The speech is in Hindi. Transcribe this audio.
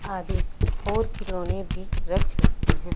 आधे और खिलौने भी रख सकते है।